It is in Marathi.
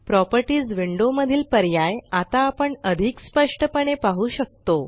प्रॉपर्टीस विंडो मधील पर्याय आता आपण अधिक स्पष्टपणे पाहु शकतो